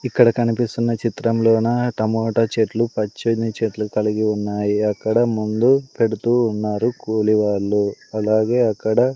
ఇక్కడ కనిపిస్తున్న చిత్రంలోనా టమాటా చెట్లు పచ్చని చెట్లు కలిగి ఉన్నాయి అక్కడ ముందు కూడా పెడుతూ ఉన్నారు కూలి వాళ్లు అలాగే అక్కడ.